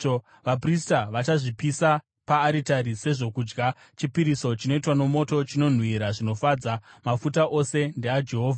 Vaprista vachazvipisa paaritari sezvokudya, chipiriso chinoitwa nomoto, chinonhuhwira zvinofadza. Mafuta ose ndeaJehovha.